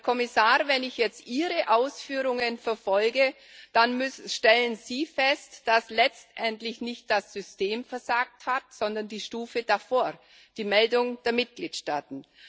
Herr Kommissar, wenn ich jetzt Ihre Ausführungen verfolge, dann stellen Sie fest, dass letztendlich nicht das System versagt hat, sondern die Stufe davor die Meldung der Mitgliedstaaten.